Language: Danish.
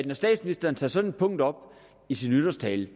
når statsministeren tager sådan et punkt op i sin nytårstale